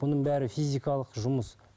бұның бәрі физикалық жұмыс